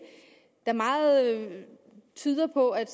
meget tyder på at